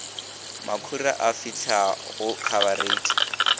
makhura a fihlela go khabareitha